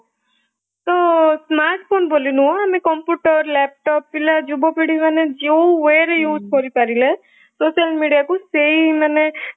ତ smart phone ବୋଲି ନୁହଁ ମାନେ computer laptop ପିଲା ଯୁବ ପିଡି ମାନେ ଯୋଉ way ରେ use କରିପାରିଲେ social media କୁ ସେଇ ମାନେ